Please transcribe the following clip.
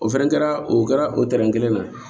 O fɛnɛ kɛra o kɛra o tɛrɛn kelen na